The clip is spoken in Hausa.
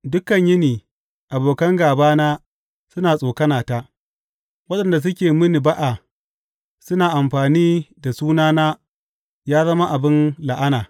Dukan yini abokan gābana suna tsokanata; waɗanda suke mini ba’a suna amfani da sunana yă zama abin la’ana.